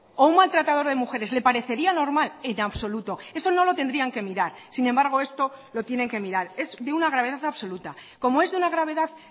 o un maltratador de mujeres le parecería normal en absoluto eso no lo tendrían que mirar sin embargo esto lo tienen que mirar es de una gravedad absoluta como es de una gravedad